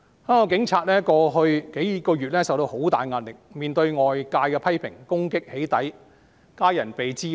香港警察過去數月承受很大壓力，面對外界的批評、攻擊、"起底"和家人被滋擾等。